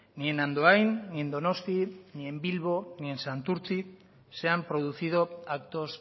ni en andoain ni en donosti ni en bilbo ni en santurtzi se han producido actos